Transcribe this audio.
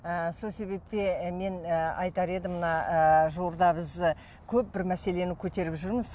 ы сол себепті мен ы айтар едім мына ы жуырда біз көп бір мәселені көтеріп жүрміз